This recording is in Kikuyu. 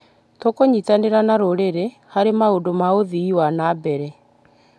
Tũkũnyitanĩra na rũrĩrĩ harĩ maũndũ ma ũthii wa na mbere.